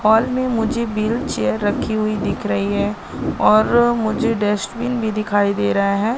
Hall में मुझे wheel chair रखी हुई दिख रही है और मुझे डस्टबिन भी दिखाई दे रहा है।